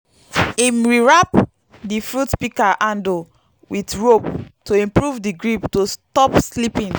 him rewrap di fruit pika handle with rope to improve di grip to stop slipping